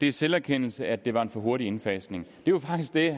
er selverkendelse at det var en for hurtig indfasning det var faktisk det